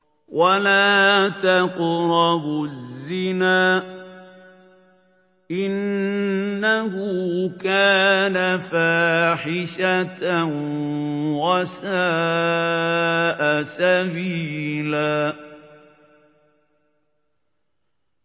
وَلَا تَقْرَبُوا الزِّنَا ۖ إِنَّهُ كَانَ فَاحِشَةً وَسَاءَ سَبِيلًا